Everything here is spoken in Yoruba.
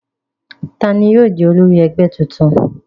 Ta ni yóò jẹ́ olórí ẹgbẹ́ tuntun?